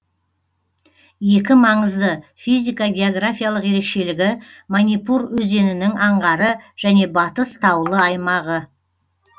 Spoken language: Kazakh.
екі маңызды физика географиялық ерекшелігі манипур өзенінің аңғары және батыс таулы аймағы